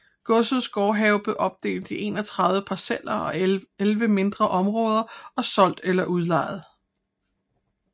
Godsets gårdhave blev opdelt i 31 parceller og elleve mindre områder og solgt eller udlejet